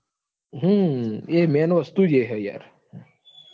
હમ એ main વસ્તુ જ એ છે યાર.